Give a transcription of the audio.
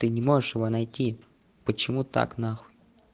ты не можешь его найти почему так нахуй